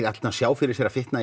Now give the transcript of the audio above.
að sjá fyrir sér þykkna í